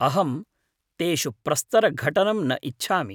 अहं तेषु प्रस्तरघटनं न इच्छामि।